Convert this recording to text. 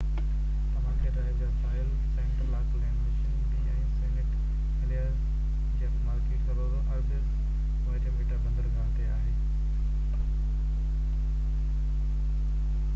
Tamaki Drive جا ساحل Central Auckland Mission Bay ۽ Saint Heliers جي upmarket suburbs Waitemata بندرگاه تي آهي